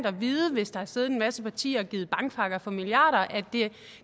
at vide hvis der har siddet en masse partier og givet bankpakker for milliarder at